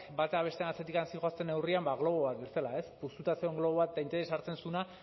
bata bestearen atzetik zihoazen neurrian ba globo bat bezala ez puztuta zegoen globo bat eta interesa hartzen zuena